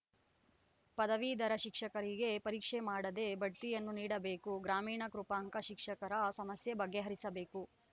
ಪದವೀಧರ ಶಿಕ್ಷಕರಿಗೆ ಪರೀಕ್ಷೆ ಮಾಡದೇ ಬಡ್ತಿಯನ್ನು ನೀಡಬೇಕು ಗ್ರಾಮೀಣ ಕೃಪಾಂಕ ಶಿಕ್ಷಕರ ಸಮಸ್ಯೆ ಬಗೆಹರಿಸಬೇಕು